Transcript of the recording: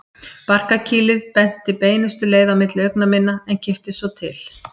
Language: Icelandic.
Barkakýlið benti beinustu leið á milli augna minna en kipptist svo til.